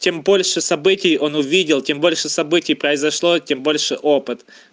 тем больше событий он увидел тем больше событий произошло тем больше опыт